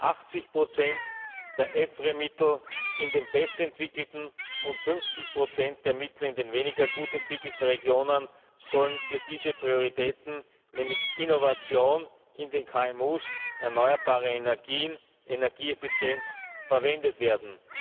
80 der EFRE Mittel in den besser entwickelten und 50 der Mittel in den weniger gut entwickelten Regionen sollen für diese Prioritäten, nämlich Innovation in den KMU, erneuerbare Energien, Energieeffizienz, verwendet werden.